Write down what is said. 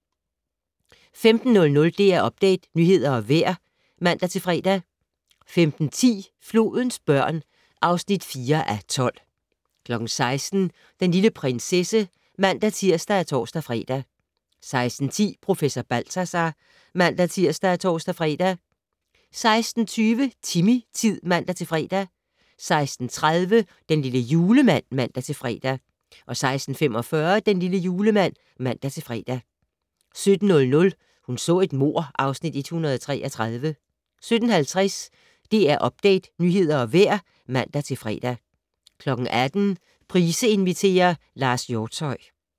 15:00: DR Update - nyheder og vejr (man-fre) 15:10: Flodens børn (4:12) 16:00: Den lille prinsesse (man-tir og tor-fre) 16:10: Professor Balthazar (man-tir og tor-fre) 16:20: Timmy-tid (man-fre) 16:30: Den lille julemand (man-fre) 16:45: Den lille julemand (man-fre) 17:00: Hun så et mord (Afs. 133) 17:50: DR Update - nyheder og vejr (man-fre) 18:00: Price inviterer - Lars Hjortshøj